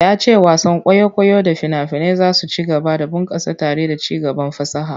Ya ce wasan kwaikwayo da fina-finai za su ci gaba da bunkasa tare da ci gaban fasaha.